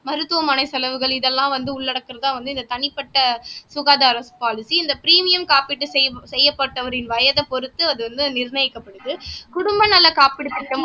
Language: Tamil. மருத்துவமனை செலவுகள் இதெல்லாம் வந்து உள்ளடக்குறதா வந்து இந்த தனிப்பட்ட சுகாதாரம் பாலிசி இந்த பிரீமியம் காப்பீட்டு செய்யப்ப செய்யப்பட்டவரின் வயதைப் பொறுத்து அது வந்து நிர்ணயிக்கப்படுது குடும்ப நல காப்பீடு திட்டம்